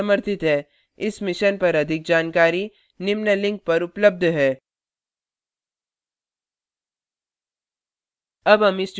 इस mission पर अधिक जानकारी निम्न लिंक पर उपलब्ध है